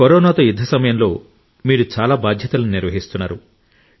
కరోనాతో యుద్ధ సమయంలో మీరు చాలా బాధ్యతలను నిర్వహిస్తున్నారు